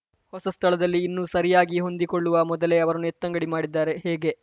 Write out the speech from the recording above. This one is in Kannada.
ಹೊಸ ಸ್ಥಳದಲ್ಲಿ ಇನ್ನೂ ಸರಿಯಾಗಿ ಹೊಂದಿಕೊಳ್ಳುವ ಮೊದಲೇ ಅವರನ್ನು ಎತ್ತಂಗಡಿ ಮಾಡಿದ್ದಾರೆ ಹೇಗೆ